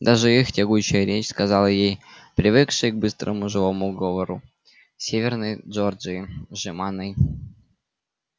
даже их тягучая речь сказал ей привыкшей к быстрому живому говору северной джорджии жеманной